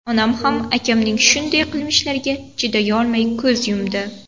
Onam ham akamning shunday qilmishlariga chidolmay ko‘z yumdi.